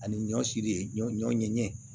Ani ɲɔ siri ɲɔ ɲɔ ɲɛgɛn